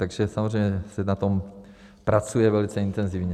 Takže samozřejmě se na tom pracuje velice intenzivně.